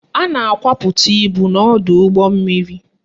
A na-akwapụta ibu n'ọdọụgbọmmiri